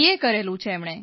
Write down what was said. કરેલું છે એમણે